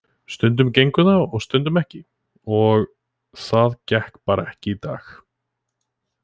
Stundum gengur það og stundum ekki og það gekk bara ekki í dag.